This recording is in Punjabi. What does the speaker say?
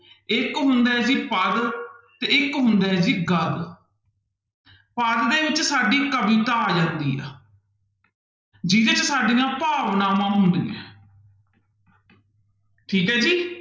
ਇੱਕ ਹੁੰਦਾ ਹੈ ਜੀ ਪਦ ਤੇ ਇੱਕ ਹੁੰਦਾ ਹੈ ਜੀ ਗਦ ਪਦ ਦੇ ਵਿੱਚ ਸਾਡੀ ਕਵਿਤਾ ਆ ਜਾਂਦੀ ਆ ਜਿਹਦੇ ਚ ਸਾਡੀਆਂ ਭਾਵਨਾਵਾਂ ਹੁੰਦੀਆਂ ਹੈ ਠੀਕ ਹੈ ਜੀ।